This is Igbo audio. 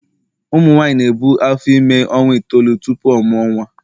ụmụ nwanyị na-ebu afọ ime ọnwa itoolu tupu ọ mụọ nwa